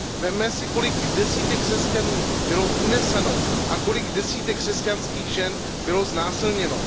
Vezměte si, kolik desítek křesťanů bylo uneseno a kolik desítek křesťanských žen bylo znásilněno.